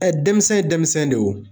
denmisɛn denmisɛn de y'o.